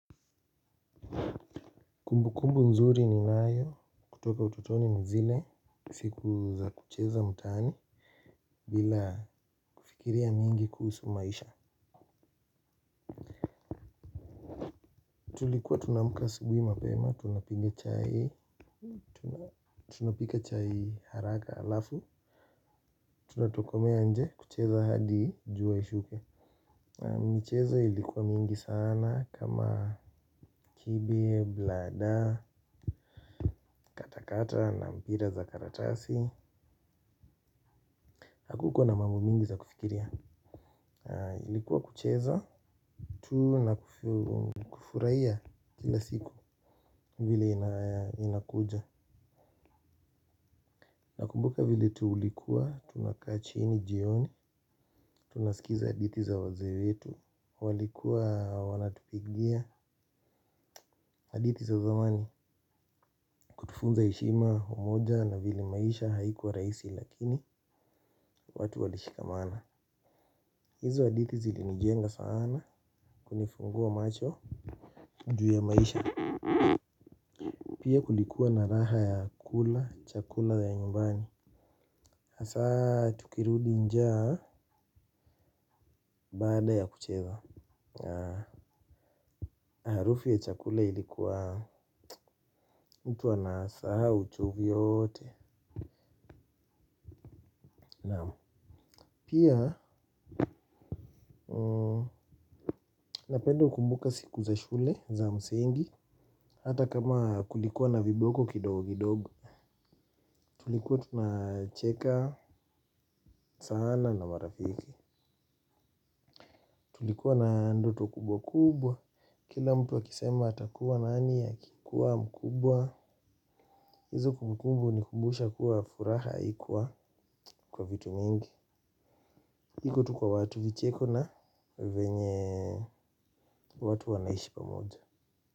Kumbu kumbu nzuri ninayo, kutoka utotoni ni zile, siku za kucheza mtaani, bila kufikiria nyingi kuhusu maisha. Tulikuwa tunaamka asubuhi mapema, tunapiga chai, tunapika chai haraka halafu, tunatokomea nje, kucheza hadi, jua ishuke. Michezo ilikuwa mingi sana, kama kibe, bladder, katakata, na mpira za karatasi. Hakukuwa na mambu mingi za kufikiria ilikuwa kucheza tu na kufurahia kila siku vile inakuja. Nakumbuka vile tulikuwa, tunakaa chini jioni. Tunasikiza hadithi za wazee wetu walikuwa wanatupigia hadithi za zamani funza heshima umoja na vile maisha haikuwa rahisi lakini watu walishikamana. Hizo hadithi zilinijenga sana kunifungua macho juu ya maisha. Pia kulikuwa na raha ya kula, chakula ya nyumbani tukirudi njaa baada ya kucheza harufu ya chakula ilikuwa mtu anasahau uchovu yote. Pia napenda kukumbuka siku za shule za msingi hata kama kulikuwa na viboko kidogo kidogo tulikuwa tunacheka sana na marafiki. Tulikuwa na ndoto kubwa kubwa. Kila mtu akisema atakuwa nani akikuwa mkubwa. Hizo kumbukumbu hunikumbusha kuwa furaha haikua kwa vitu mingi ilikuwa tu kwa watu vicheko na venye watu wanaishi pamoja.